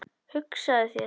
Hugsaðu þér.